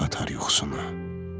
Haram qatar yuxusunu.